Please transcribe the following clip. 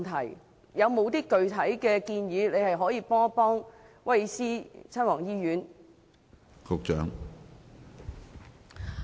政府有何具體建議協助威爾斯親王醫院呢？